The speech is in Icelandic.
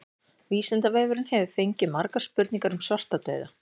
Vísindavefurinn hefur fengið margar spurningar um svartadauða.